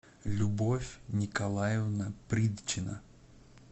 любовь николаевна придчина